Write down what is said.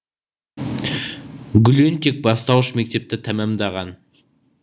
гүлен тек бастауыш мектепті тәмәмдаған